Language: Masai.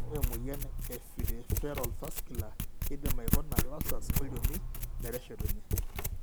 Ore emuoyian ePeripheral vascular keidim aikuna ulcers olchoni meteshetunye.